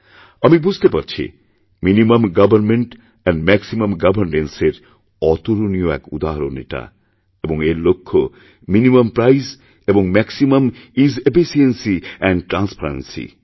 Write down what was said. আমি বুঝতে পারছি minimum government and maximum governance এর অতুলনীয় এক উদাহরণ এটা এবং এর লক্ষ্য মিনিমাম্প্রাইস এবং ম্যাক্সিমিউমিজ এফিশিয়েন্সি এন্ড ট্রান্সপারেন্সি